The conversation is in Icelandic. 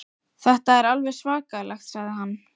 Þetta er alveg svakalegt sagði hann.